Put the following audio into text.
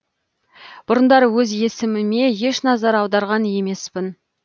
бұрындары өз есіміме еш назар аударған емеспін